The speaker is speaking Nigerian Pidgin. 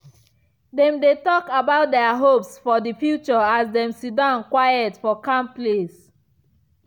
dem dey talk about their hopes for the future as dem siddon quiet for calm place.